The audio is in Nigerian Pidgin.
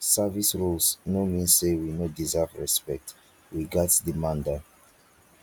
service roles no mean say we no deserve respect we gatz demand am